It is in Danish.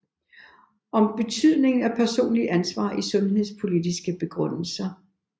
Om betydningen af personligt ansvar i sundhedspolitiske begrundelser